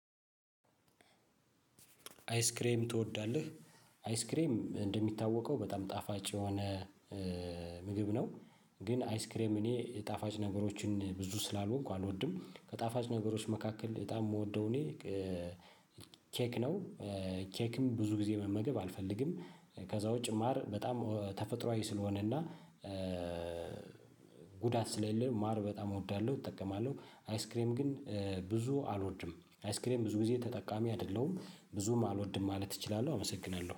አይስክሬም ትወዳለህ? አይስክሬም እንደሚታወቀው በጣም ጣፋጭ የሆነ ምግብ ነው። ግን አይስክሬም እኔ ጣፋጭ ነገሮችን ብዙ ስላልሆንኩ አልወድም። ከጣፋጭ ነገሮች መካከል በጣም የምወደው እኔ ኬክ ነው። ኬክም ብዙ ጊዜ መመገብ አልፈልግም። ከዛ ውጪ ማር በጣም ተፈጥሮአዊ ስለሆነና። ጉዳት ስለሌለው ማር በጣም እወዳለሁ እጠቀማለሁ። አይስክሬም ግን ብዙ አልወድም አይስክሬም ብዙ ጊዜ ተጠቃሚ አይደለሁም ብዙም አልወድም ማለት እችላለሁ። አመሰግናለሁ